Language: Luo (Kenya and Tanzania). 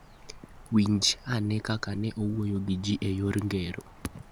Winj ane kaka ne owuoyo gi ji e yor ngero: